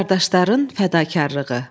Qardaşların fədakarlığı.